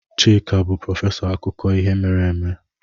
Chika bụ prọfesọ akụkọ ihe mere eme.